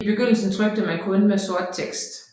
I begyndelsen trykte man kun med sort tekst